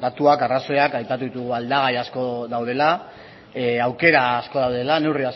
datuak eta arrazoiak aipatu ditugu aldagai asko daudela aukera asko daudela neurri